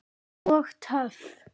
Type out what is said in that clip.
Og töff.